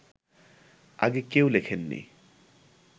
আগে কেউ লেখেননি